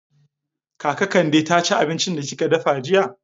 Kaka Kande ta ci abincin da kika dafa jiya?